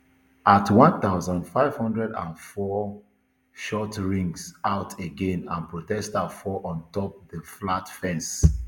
at one thousand, five hundred and four shots ring out again and protesters fall ontop di flat fence